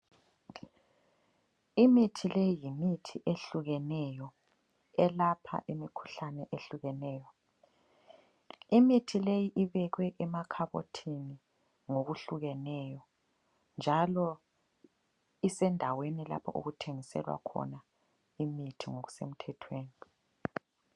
Imithi leyi yimithi ehlukeneyo elapha imikhuhlane ehlukeneyo. Imithi leyi ibekwe emakhabothini ngokuhlukeneyo njalo isendaweni lapho okuthengiselwa khona imithi ngokusemthethweni.